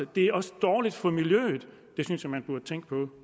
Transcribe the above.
det er også dårligt for miljøet det synes jeg man burde tænke på